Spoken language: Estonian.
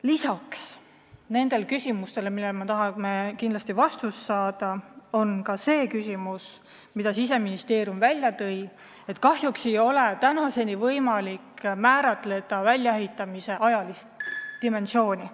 Lisaks nendele küsimustele, millele me tahame kindlasti vastust saada, on veel ka see küsimus, mille Siseministeerium välja tõi, et kahjuks ei ole tänaseni võimalik määrata kindlaks väljaehitamise ajalist dimensiooni.